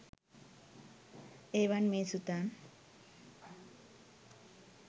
ඒවංමේසුතං!